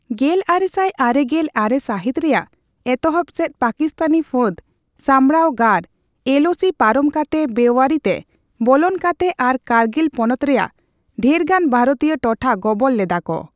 ᱜᱮᱞᱟᱨᱮᱥᱟᱭ ᱟᱨᱮᱜᱮᱞ ᱟᱨᱮ ᱥᱟᱹᱦᱤᱛ ᱨᱮᱭᱟᱜ ᱮᱛᱚᱦᱚᱵ ᱥᱮᱪ ᱯᱟᱠᱤᱥᱛᱟᱱᱤ ᱯᱷᱟᱹᱫ ᱥᱟᱢᱲᱟᱣ ᱜᱟᱨ (ᱮᱞᱳᱥᱤ) ᱯᱟᱨᱚᱢ ᱠᱟᱛᱮ ᱵᱮᱟᱹᱨᱤ ᱛᱮ ᱵᱚᱞᱚᱱ ᱠᱟᱛᱮ ᱟᱨ ᱠᱟᱨᱜᱤᱞ ᱯᱚᱱᱚᱛ ᱨᱮᱭᱟᱜ ᱰᱷᱮᱨᱜᱟᱱ ᱵᱷᱟᱨᱚᱛᱤᱭᱟᱹ ᱨᱚᱴᱷᱟ ᱜᱚᱵᱚᱞ ᱞᱮᱫᱟ ᱠᱚ ᱾